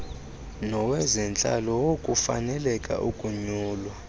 nowezentlalo wokufaneleka ukunyulwa